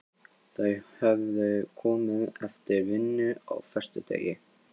Þau höfðu komið eftir vinnu á föstudegi.